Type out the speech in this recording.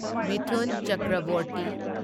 Mithun Chakraborty